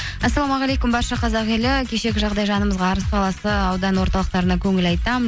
ассалаумағалейкум барша қазақ елі кешегі жағдай жанымызға арыс қаласы аудан орталықтарына көңіл айтамын